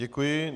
Děkuji.